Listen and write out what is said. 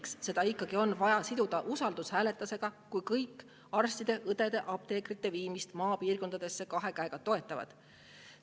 Miks seda on ikkagi vaja siduda usaldushääletusega, kui kõik kahe käega toetavad arstide, õdede ja apteekrite maapiirkondades?